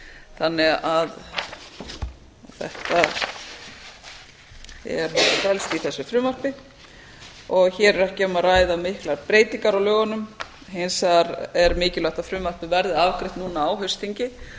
þannig að þetta felst í þessu frumvarpi og hér er ekki um að ræða miklar breytingar á lögunum hins vegar er mikilvægt að frumvarpið verði afgreitt núna á haustþingi